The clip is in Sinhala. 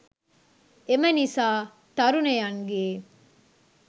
එම නිසා, තරුණයන්ගේ